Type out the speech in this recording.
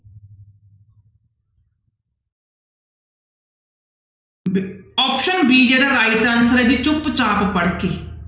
ਬਿ~ option b ਜਿਹੜਾ right answer ਹੈ ਜੀ ਚੁੱਪ ਚਾਪ ਪੜ੍ਹਕੇ।